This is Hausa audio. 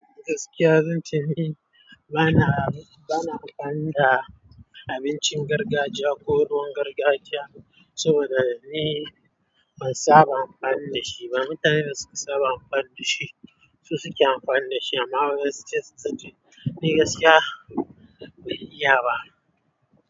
Gaskiya zance ni bana anfani da abincin gargajiya ko ruwan gargajiya saboda ni ban saba anfani da shi ba mutanen da suka saba amfani da shi su suke amfani da shi. Amma wayan su sai suyi taci, ni gaskiya, ban iya ba.